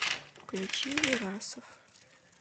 включи верасов